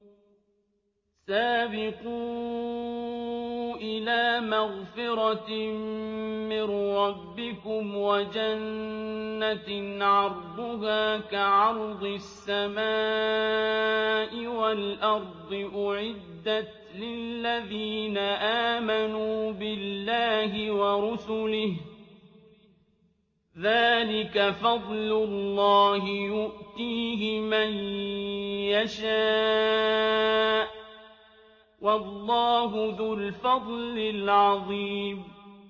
سَابِقُوا إِلَىٰ مَغْفِرَةٍ مِّن رَّبِّكُمْ وَجَنَّةٍ عَرْضُهَا كَعَرْضِ السَّمَاءِ وَالْأَرْضِ أُعِدَّتْ لِلَّذِينَ آمَنُوا بِاللَّهِ وَرُسُلِهِ ۚ ذَٰلِكَ فَضْلُ اللَّهِ يُؤْتِيهِ مَن يَشَاءُ ۚ وَاللَّهُ ذُو الْفَضْلِ الْعَظِيمِ